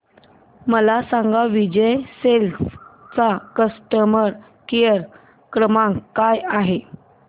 मला सांगा विजय सेल्स चा कस्टमर केअर क्रमांक काय आहे